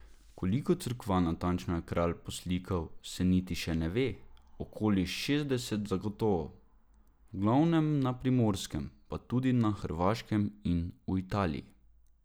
Koliko cerkva natančno je Kralj poslikal, se niti še ne ve, okoli šestdeset zagotovo, v glavnem na Primorskem, pa tudi na Hrvaškem in v Italiji.